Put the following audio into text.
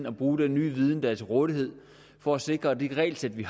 at bruge den nye viden der er til rådighed for at sikre at det regelsæt vi